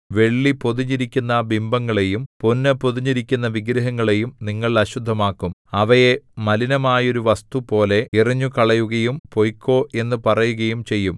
വെള്ളി പൊതിഞ്ഞിരിക്കുന്ന ബിംബങ്ങളെയും പൊന്നു പൊതിഞ്ഞിരിക്കുന്ന വിഗ്രഹങ്ങളെയും നിങ്ങൾ അശുദ്ധമാക്കും അവയെ മലിനമായൊരു വസ്തുപോലെ എറിഞ്ഞുകളയുകയും പൊയ്ക്കൊ എന്നു പറയുകയും ചെയ്യും